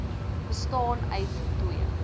bestaan uit twee